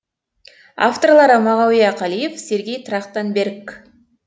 авторлары мағауия қалиев сергей трахтанберг